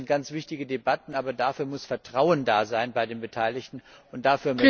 Das sind ganz wichtige Debatten, aber dafür muss Vertrauen bei den Beteiligten da sein.